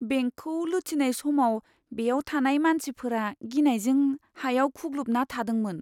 बेंकखौ लुथिनाय समाव बेयाव थानाय मानसिफोरा गिनायजों हायाव खुग्लुबना थादोंमोन।